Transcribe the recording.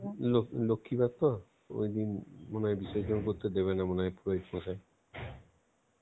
ল~ লক্ষীবার তো ঐদিন কোনো বিসর্জন করতে দেবে না মনে হয় পুরোহিতমশাই.